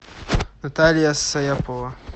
наталья саяпова